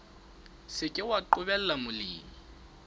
se ke wa qobella molemi